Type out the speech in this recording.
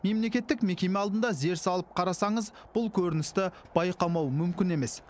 мемлекеттік мекеме алдында зер салып қарасаңыз бұл көріністі байқамау мүмкін емес